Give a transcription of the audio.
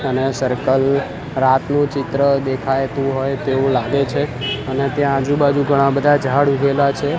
અને સર્કલ રાતનું ચિત્ર દેખાયતું હોય તેવું લાગે છે અને ત્યાં આજુ-બાજુ ઘણા બધા જાળ ઉગેલા છે.